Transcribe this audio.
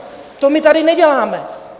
To my tady neděláme.